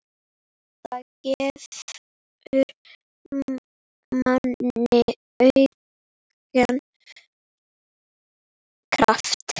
Það gefur manni aukinn kraft.